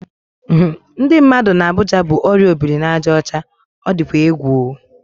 Ndị mmadụ n'Abuja bu orịa obiri-na-aja ocha. O dịkwa egwu o!